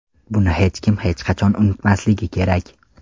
Buni hech kim hech qachon unutmasligi kerak.